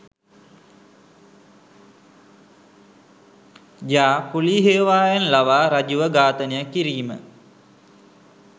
ජා කුලී හේවායන් ලවා රජුව ඝාතනය කිරීම